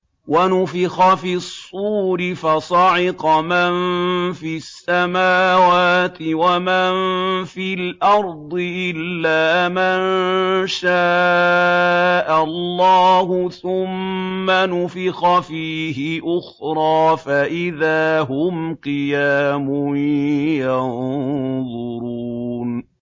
وَنُفِخَ فِي الصُّورِ فَصَعِقَ مَن فِي السَّمَاوَاتِ وَمَن فِي الْأَرْضِ إِلَّا مَن شَاءَ اللَّهُ ۖ ثُمَّ نُفِخَ فِيهِ أُخْرَىٰ فَإِذَا هُمْ قِيَامٌ يَنظُرُونَ